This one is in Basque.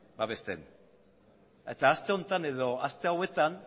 babesten eta aste honetan edo aste hauetan